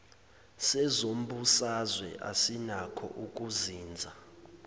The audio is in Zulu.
sezombusazwe asinakho ukuzinza